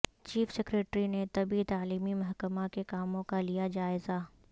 chief secretary نے طبی تعلیمی محکمہ کے کاموں کا لیا جائزہ